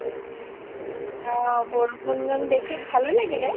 অ বৰষুণ দেখি ভালও লাগিলে